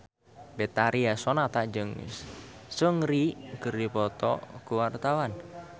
Betharia Sonata jeung Seungri keur dipoto ku wartawan